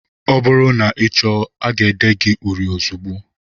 Ọ bụrụ na ị chọọ, aga ede gị uri ozugbo